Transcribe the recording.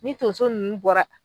Ni tonso nunnu bɔra